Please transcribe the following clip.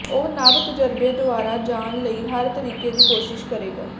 ਉਹ ਨਵ ਤਜਰਬੇ ਦੁਆਰਾ ਜਾਣ ਲਈ ਹਰ ਤਰੀਕੇ ਦੀ ਕੋਸ਼ਿਸ਼ ਕਰੇਗਾ